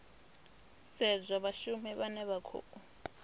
sedzwa vhashumi vhane vha khou